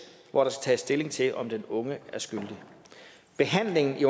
hvor der skal tages stilling til om den unge er skyldig behandlingen i